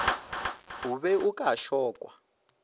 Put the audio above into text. o be o ka šokwa